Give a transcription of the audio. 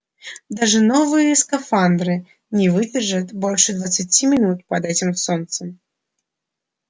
даже новые скафандры не выдержат больше двадцати минут под этим солнцем